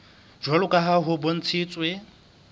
jwalo ka ha ho bontshitswe